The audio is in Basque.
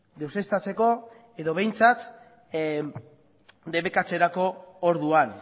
deuseztatzeko edo behintzat debekatzerako orduan